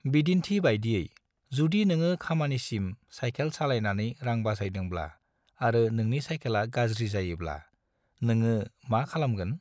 बिदिन्थि बायदियै, जुदि नोङो खामानिसिम सायखेल सालायनानै रां बासायदोंब्ला आरो नोंनि सायखेला गाज्रि जायोब्ला, नोङो मा खालामगोन?